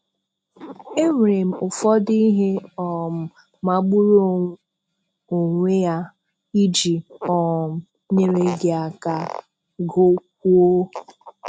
Enwèrè m ụfọdụ ihe um magbùrù onwe à iji um nyere gị aka GỤKWÙO